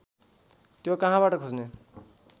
त्यो कहाँबाट खोज्ने